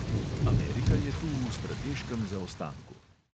Amerika je tu v strateškem zaostanku.